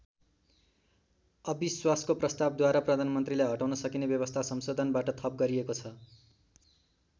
अविश्वासको प्रस्तावद्वारा प्रधानमन्त्रीलाई हटाउन सकिने व्यवस्था संशोधनबाट थप गरिएको छ।